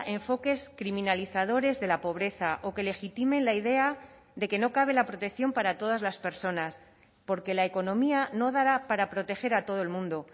enfoques criminalizadores de la pobreza o que legitimen la idea de que no cabe la protección para todas las personas porque la economía no dará para proteger a todo el mundo